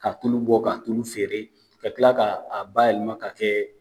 Ka tulu bɔ ka tulo feere ka kila ka bayɛlɛma ka kɛ